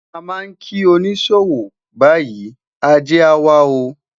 a ma ki onisowow bayi, Aje a wa o